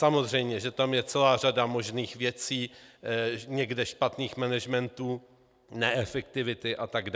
Samozřejmě, že tam je celá řada možných věcí, někde špatných managementů, neefektivity atd.